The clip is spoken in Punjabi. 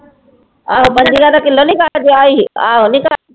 ਉਹ ਪੰਜੀਆਂ ਦਾ ਕਿੱਲੋ ਨੀ